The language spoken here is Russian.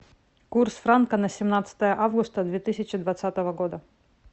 курс франка на семнадцатое августа две тысячи двадцатого года